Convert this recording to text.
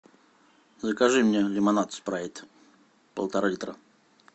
закажи мне лимонад спрайт полтора литра